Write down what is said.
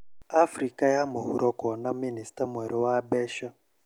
Afrika ya mũhuro kwona mĩnista mwerũ wa mbeca